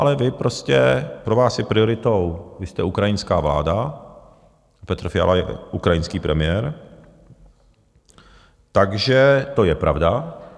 Ale vy prostě, pro vás je prioritou, vy jste ukrajinská vláda, Petr Fiala je ukrajinský premiér, takže to je pravda.